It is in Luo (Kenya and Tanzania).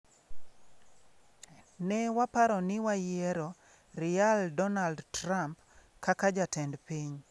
Ne waparo ni wayiero @realDonaldTrump kaka jatend piny.